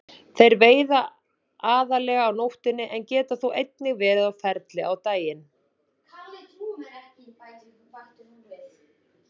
Þeir veiða aðallega á nóttunni en geta þó einnig verið á ferli á daginn.